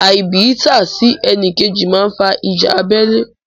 Àìbìítà sí ẹnìkejì máa fa ìjà abẹ́lé.